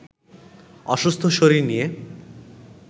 অসুস্থ শরীর নিয়ে